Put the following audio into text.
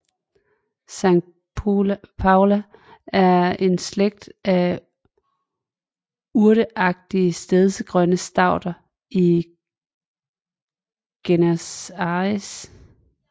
Saintpaulia er en slægt af urteagtige stedsegrønne stauder i Gesneriaceae